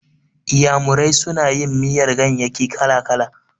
Iyamurai suna yin miyar ganyayyaki kala-kala.